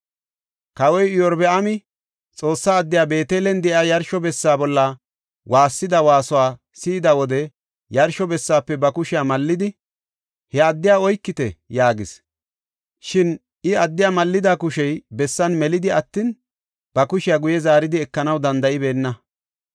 Kawoy Iyorbaami Xoossa addey Beetelen de7iya yarsho bessa bolla waassida waasuwa si7ida wode yarsho bessaafe ba kushiya mallidi, “He addiya oykite!” yaagis. Shin I, addiya mallida kushey bessan melidi attin, ba kushiya guye zaaridi ekanaw danda7ibeenna.